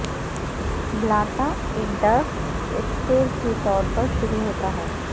بلاتا ایک درخت ایسپر کے طور پر شروع ہوتا ہے